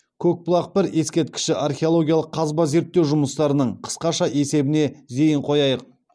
көкбұлақ бір ескерткіші археологиялық қазба зерттеу жұмыстарының қысқаша есебіне зейін қояйық